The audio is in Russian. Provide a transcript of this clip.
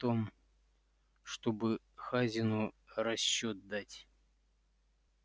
о том чтобы хазину расчёт дать